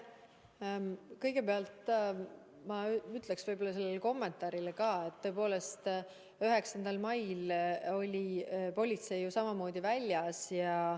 Kõigepealt ma ütleksin kommentaari peale, et tõepoolest oli 9. mail politsei samamoodi väljas.